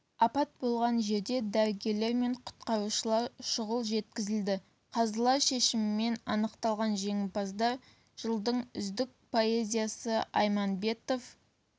апат болған жерге дәрігерлер мен құтқарушылар шұғыл жеткізілді қазылар шешімімен анықталған жеңімпаздар жылдың үздік поэзиясы айманбетов